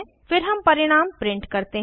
फिर हम परिणाम प्रिंट करते हैं